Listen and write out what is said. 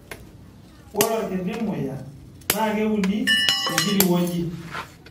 Ore orkiti muya NAA keuni tenkiti wueji